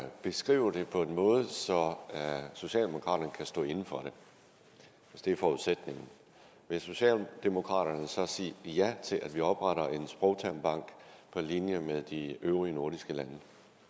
beskrive det på en måde så socialdemokraterne kan stå inde for det hvis det er forudsætningen vil socialdemokraterne så sige ja til at vi opretter en sprogtermbank på linje med de øvrige nordiske lande